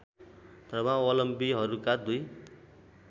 धर्मावलम्बीहरूका दुई